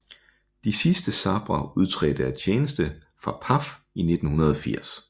De sidste Sabre udtrådte af tjeneste fra PAF i 1980